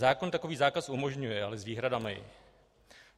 Zákon takový zákaz umožňuje, ale s výhradami.